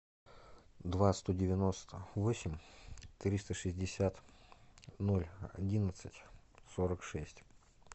два сто девяносто восемь триста шестьдесят ноль одиннадцать сорок шесть